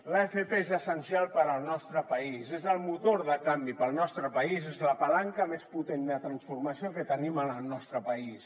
l’fp és essencial per al nostre país és el motor de canvi per al nostre país és la palanca més potent de transformació que tenim en el nostre país